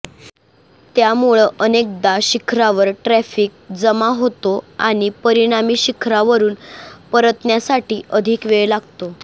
त्यामुळं अनेकदा शिखरावर ट्रफिक जाम होतो आणि परिणामी शिखरावरून परतण्यासाठी अधिक वेळ लागतो